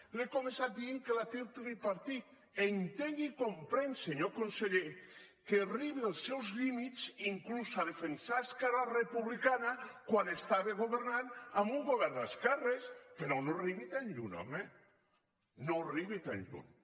li he començat dient que la té el tripartit entenc i comprenc senyor conseller que arribi als seus límits inclús a defensar esquerra republicana quan estava governant en un govern d’esquerres però no arribi tan lluny home no arribi tan lluny